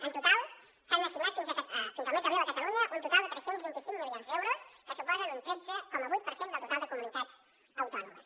en total s’han assignat fins al mes d’abril a catalunya un total de tres cents i vint cinc milions d’euros que suposen un tretze coma vuit per cent del total de comunitats autònomes